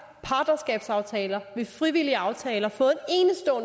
partnerskabsaftaler med frivillige aftaler fået